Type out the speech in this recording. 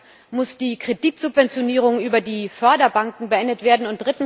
Zweitens muss die Kreditsubventionierung über die Förderbanken beendet werden.